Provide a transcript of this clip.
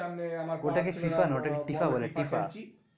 ওটা কে FIFA নয় ওটা কে টিফা বলে টিফা।